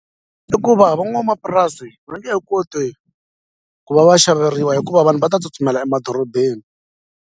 I ku va van'wamapurasi va nge he koti ku va va xaveriwa hikuva vanhu va ta tsutsumela emadorobeni.